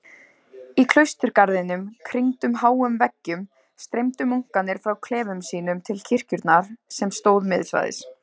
Í klausturgarðinum, kringdum háum veggjum, streymdu munkarnir frá klefum sínum til kirkjunnar sem stóð miðsvæðis.